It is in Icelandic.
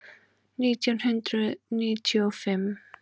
Nítján hundruð níutíu og fimm